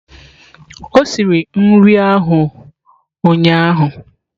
O siri nri ahụ ụnyahụ?